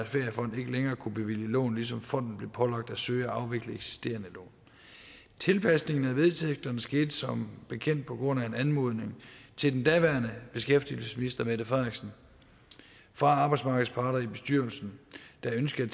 feriefond ikke længere kunne bevilge lån ligesom fonden blev pålagt at søge at afvikle eksisterende lån tilpasningen af vedtægterne skete som bekendt på grundlag af en anmodning til den daværende beskæftigelsesminister mette frederiksen fra arbejdsmarkedets parter i bestyrelsen der ønskede